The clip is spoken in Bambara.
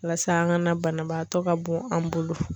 Walasa an ka na banabaatɔ ka bon an bolo.